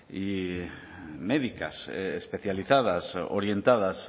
médicas especializadas orientadas